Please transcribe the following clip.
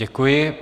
Děkuji.